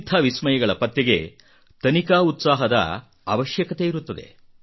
ಇಂಥ ವಿಸ್ಮಯಗಳ ಪತ್ತೆಗೆ ತನಿಖಾ ಉತ್ಸಾಹದ ಅವಶ್ಯಕತೆಯಿರುತ್ತದೆ